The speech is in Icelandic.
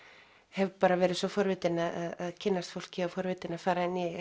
hef bara verið svo forvitin að kynnast fólki og forvitin að fara inn í